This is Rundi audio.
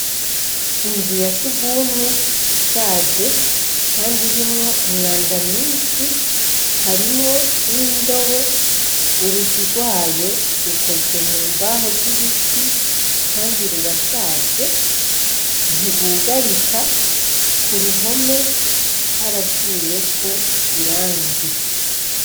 Inzu ya sugumwe ishaje, kandi irimwo umwanda mwishi, harimwo n'indobo urugi rwayo rukoze mumbaho z'ibiti kandi rurashaje ntirwugarika kuruhome haravuyeko irangi.